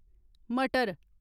मटर